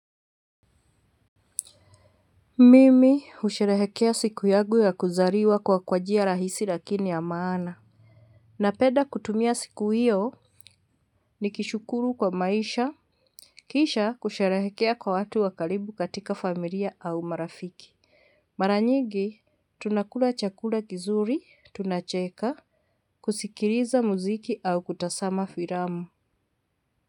Mimi husherehekea siku yangu ya kuzaliwa kwa kwa njia rahisi lakini ya maana. Napenda kutumia siku hiyo nikishukuru kwa maisha. Kisha kusherehekea kwa watu wa karibu katika familia au marafiki. Mara nyingi tunakula chakula kizuri, tunacheka, kusikiliza muziki au kutazama filamu.